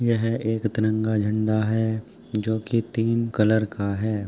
ये एक तिरंगा झंडा है जोकि तीन कलर का है।